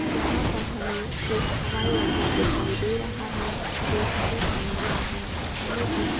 यहाँ पर हमे एक हवाई अड्डा दिखाई दे रहा है जो सफेद कलर का है हमें कुछ --